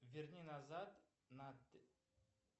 верни назад на